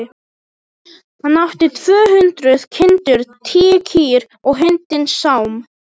Hann átti tvö hundruð kindur, tíu kýr og hundinn Sám.